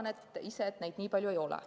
Ma arvan ise, et neid nii palju ei ole.